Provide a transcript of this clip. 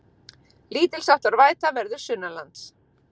Lítilsháttar væta verður sunnanlands